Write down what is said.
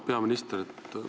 Auväärt peaminister!